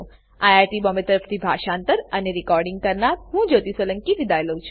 IIT Bombay તરફથી હું જ્યોતી સોલંકી વિદાય લઉં છું